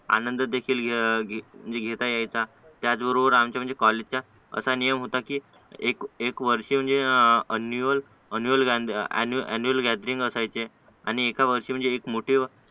आनंद देखील घेता यायचा त्याच बरोबर आमचे म्हणजे कॉलेजच्या असा नियम होता की एक एक वर्ष म्हणजे ॲनिवल ॲनिवल ॲनिवल म्हणजे ॲनिवल गॅदरिंग असायची आणि एका वर्षाची म्हणजे मोठे